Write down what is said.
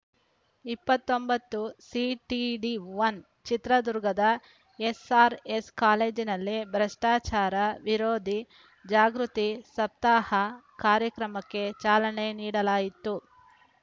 ಇಪ್ಪತ್ತೊಂಬತ್ತು CTD one ಚಿತ್ರದುರ್ಗದ SR S ಕಾಲೇಜನಲ್ಲಿ ಭ್ರಷ್ಟಚಾರ ವಿರೋಧಿ ಜಾಗೃತಿ ಸಪ್ತಾಹ ಕಾರ್ಯಕ್ರಮಕ್ಕೆ ಚಾಲನೆ ನಿಡಲಾಯಿತು